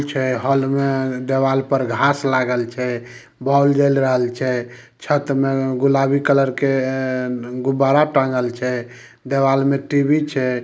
Hall में देवाल पर घास लागल छै बल्ब जल रहल छै छत में गुलाबी कलर के गुब्बारा टांगल छै देवाल में टी_वी छै।